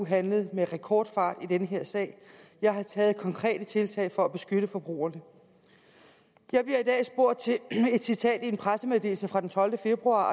handlet med rekordfart i denne sag jeg har taget konkrete tiltag for at beskytte forbrugerne jeg bliver i dag spurgt til et citat i en pressemeddelelse fra den tolvte februar